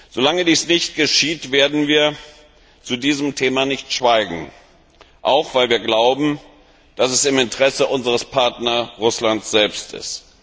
Solange dies nicht geschieht, werden wir zu diesem Thema nicht schweigen, auch weil wir glauben, dass es im Interesse unseres Partners Russland selbst ist.